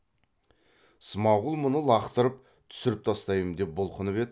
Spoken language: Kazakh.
смағұл мұны лақтырып түсіріп тастаймын деп бұлқынып еді